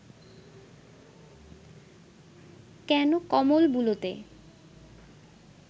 কেন কমল বুলোতে